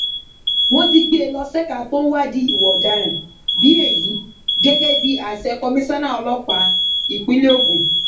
wọn ti gbé e lọ ṣèkà tó ń wádìí ìwà ọdaràn bíi èyí gẹgẹ bíi àṣẹ kọmíṣánná ọlọpàá ìpínlẹ ogun